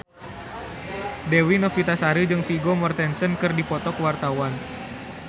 Dewi Novitasari jeung Vigo Mortensen keur dipoto ku wartawan